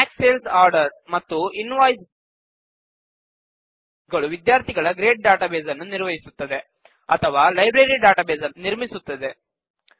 track sales order ಮತ್ತು invoice ಗಳು ವಿದ್ಯಾರ್ಥಿಗಳ ಗ್ರೇಡ್ ಡಾಟಾಬೇಸ್ ನ್ನು ನಿರ್ವಹಿಸುತ್ತದೆ ಅಥವಾ ಲೈಬ್ರರಿ ಡಾಟಾಬೇಸ್ ನ್ನು ನಿರ್ಮಿಸುತ್ತದೆ